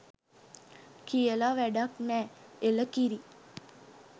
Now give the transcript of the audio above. කියල වැඩක් නෑ.එළ කිරි